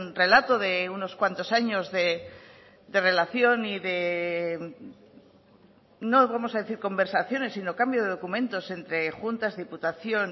relato de unos cuantos años de relación y de no vamos a decir conversaciones sino cambio de documentos entre juntas diputación